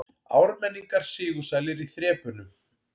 Ármenningar sigursælir í þrepunum